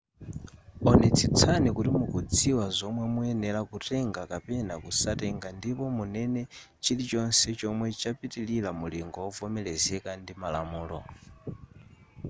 onetsetsani kuti mukudziwa zomwe muyenera kutenga kapena kusatenga ndipo munene chilichonse chomwe chapitilira mulingo wovomerezeka ndi malamulo